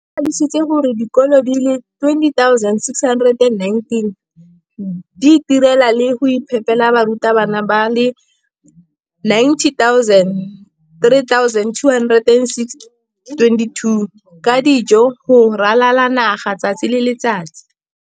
O tlhalositse gore dikolo di le 20 619 di itirela le go iphepela barutwana ba le 9 032 622 ka dijo go ralala naga letsatsi le lengwe le le lengwe.